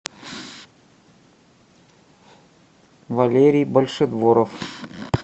валерий большедворов